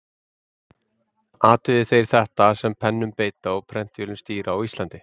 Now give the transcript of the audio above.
Athugi þeir þetta, sem pennum beita og prentvélum stýra á Íslandi.